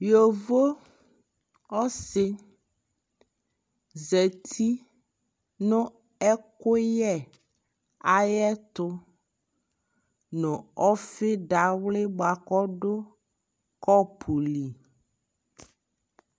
Yovo ɔsi zati nu ɛkuyɛ ayɛ tu nu ɔfi dawli bua kɔ du kɔpu li